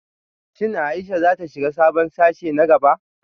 Shin Ayesha za ta shiga sabon sashe na gaba?